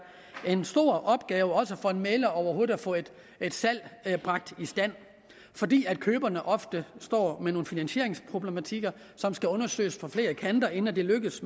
en stor opgave også for en mægler overhovedet at få et salg bragt i stand fordi køberne ofte står med nogle finansieringsproblematikker som skal undersøges på flere kanter inden det lykkes